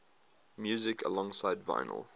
music alongside vinyl